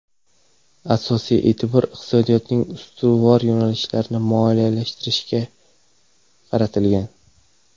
Asosiy e’tibor iqtisodiyotning ustuvor yo‘nalishlarini moliyalashtirishga moliyalashtirishga qaratilgan.